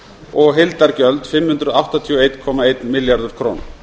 og heildargjöld fimm hundruð áttatíu og einn komma einn milljarður króna